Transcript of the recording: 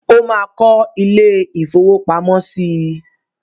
Ó máa kó ilé-ìfowópamọ́sí?